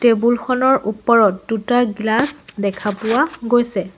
Table খনৰ ওপৰত দুটা গ্লাচ দেখা পোৱা গৈছে।